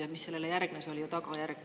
See, mis sellele järgnes, oli ju tagajärg.